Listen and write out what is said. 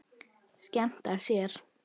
Skemmta sér.